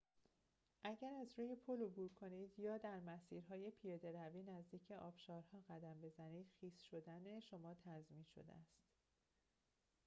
اگر از روی پل عبور کنید یا در مسیرهای پیاده روی نزدیک آبشارها قدم بزنید خیس شدن شما تضمین شده است